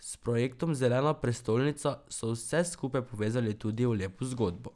S projektom Zelena prestolnica, so vse skupaj povezali tudi v lepo zgodbo.